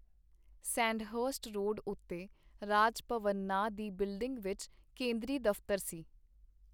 Sandhurst road ਉਤੇ ਰਾਜ ਭਵਨ ਨਾਂ ਦੀ ਬਿਲਡਿੰਗ ਵਿਚ ਕੇਂਦਰੀ ਦਫਤਰ ਸੀ.